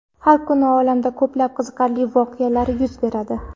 Har kuni olamda ko‘plab qiziqarli voqealar yuz beradi.